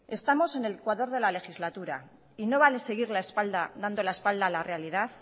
estamos en el ecuador de la legislatura y no vale seguir dando la espalda a la realidad